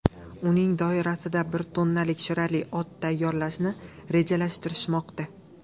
Uning doirasida bir tonnalik shirali ot tayyorlashni rejalashtirishmoqda.